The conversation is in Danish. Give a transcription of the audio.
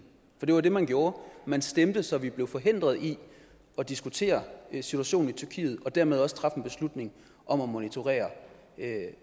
for det var jo det man gjorde man stemte så vi blev forhindret i at diskutere situationen i tyrkiet og dermed også træffe en beslutning om at monitorere